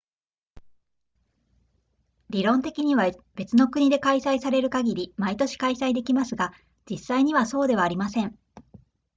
理論的には別の国で開催される限り毎年開催できますが実際にはそうではありません